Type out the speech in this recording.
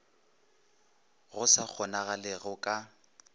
go sa kgonagalego go ka